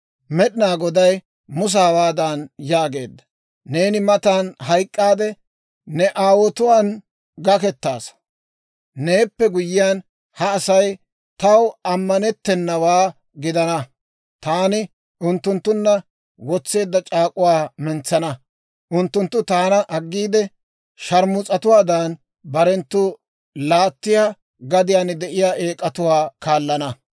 Med'inaa Goday Musa hawaadan yaageedda; «Neeni matan hayk'k'aade ne aawotuwaan gakkettaasa. Neeppe guyyiyaan, ha Asay taw ammanettennawaa gidana; taani unttunttunna wotseedda c'aak'uwaa mentsana. Unttunttu taana aggiide, sharmus'atuwaadan, barenttu laattiyaa gadiyaan de'iyaa eek'atuwaa kaallana.